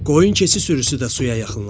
Qoyun keçi sürüsü də suya yaxınlaşdı.